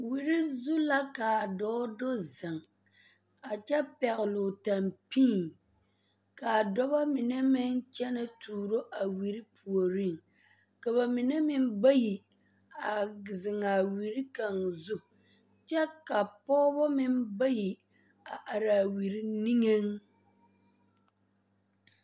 Wiri zu la ka a dɔɔ du ziŋ a kyɛ pɛgle o tampii ka a dɔbɔ mine meŋ kyɛnɛ tuuro a wiri puoriŋ ka ba mine meŋ bayi a zeŋ a wiri kaŋ zu kyɛ ka pɔgebɔ meŋ bayi a are a wiri niŋeŋ.